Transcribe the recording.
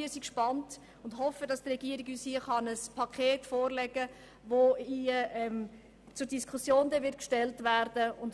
Wir sind gespannt und hoffen, die Regierung könne uns hier ein Paket zur Diskussion vorlegen – deshalb die Wandlung